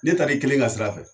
Ne taar'i kelen ka sira fɛ